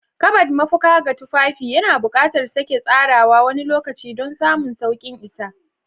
Kabad, mafaka ga tufafi, yana buƙatar sake tsarawa wani lokaci don samun sauƙin isa.